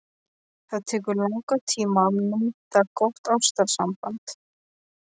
Það tekur langan tíma að mynda gott ástarsamband.